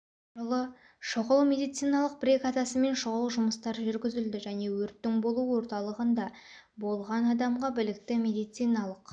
жылы шұғыл медициналық бригадасымен шұғыл жұмыстар жүргізілді және өрттің болу орталығында болған адамға білікті медициналық